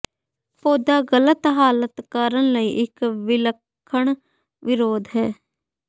ਪੌਦਾ ਗਲਤ ਹਾਲਾਤ ਕਰਨ ਲਈ ਇੱਕ ਵਿਲੱਖਣ ਵਿਰੋਧ ਹੈ